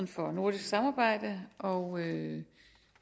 for nordisk samarbejde og